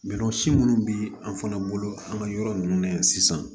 si munnu bɛ an fana bolo an ka yɔrɔ ninnu na yan sisan